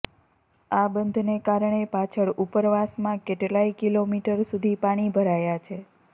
આ બંધને કારણે પાછળ ઉપરવાસમાં કેટલા ય કિલોમીટર સુધી પાણી ભરાયાં છે